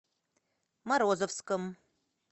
морозовском